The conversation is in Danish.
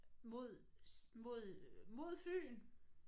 Mod mod øh mod Fyn!